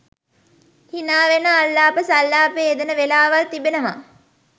හිනාවෙන අල්ලාප සල්ලාපයේ යෙදෙන වෙලාවල් තිබෙනවා.